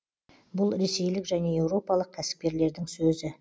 бұл ресейлік және еуропалық кәсіпкерлердің сөзі